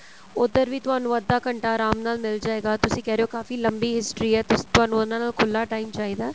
ਉਧਰ ਵੀ ਤੁਹਾਨੂੰ ਅੱਧਾ ਘੰਟਾ ਆਰਾਮ ਨਾਲ ਮਿਲ ਜਾਏਗਾ ਤੁਸੀਂ ਕਹਿ ਰਹੇ ਹੋ ਕਾਫੀ ਲੰਬੀ history ਏ ਤੁਸੀਂ ਤੁਹਾਨੂੰ ਉਹਨਾ ਦਾ ਖੁੱਲਾ time ਚਾਹੀਦਾ